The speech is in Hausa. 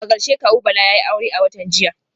A karshe kawu Bala yayi aure a watan jiya